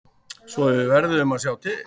Svo við verðum að sjá til.